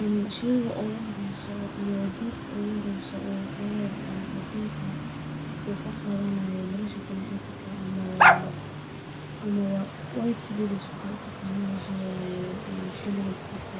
Een sheyga ugu horeso ama dorka uguhoreyso uu flawarkan cadinka ah uu nkaqadanayo nolosha bini adamka ama wa white lillys waxaa u taqanan waxaa waye in xiliga gurka